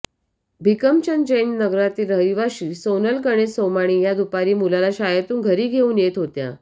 भिकमचंद जैन नगरातील रहिवाशी सोनल गणेश सोमाणी या दुपारी मुलाला शाळेतून घरी घेऊन येत होत्या